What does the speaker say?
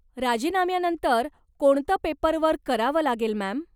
राजीनाम्यानंतर कोणत पेपरवर्क करावं लागेल मॅम?